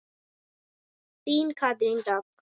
Þín Katrín Dögg.